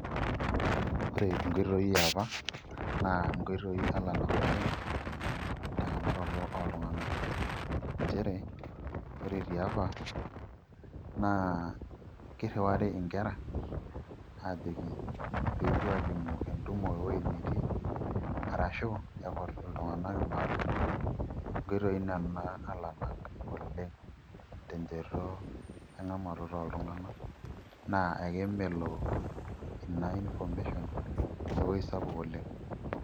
Ore nkoitoi e apa naa nkooitoi alanak oleng' nchere ore tiapa naa kirriwari nkera aajoki pee epuo aalimu entumo enetii ashu ekut iltung'anak imaalon nkoitoi nena alanak oleng' tenchoto eng'amaroto oltung'anak naa ekemelo ina information ewueji sapuk olang'.